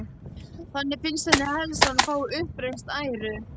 Þannig finnst henni helst að hún fái uppreisn æru.